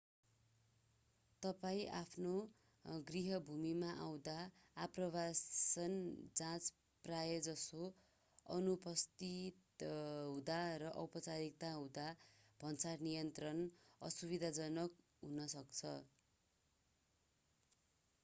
तपाईं आफ्नो गृहभूमिमा आउँदा आप्रवासन जाँच प्रायजसो अनुपस्थित हुँदा वा औपचारिकता हुँदा भन्सार नियन्त्रण असुविधाजनक हुन सक्छ